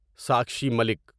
Sakshi Malik